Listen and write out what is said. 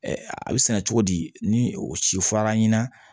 a bɛ sɛnɛ cogo di ni o siranna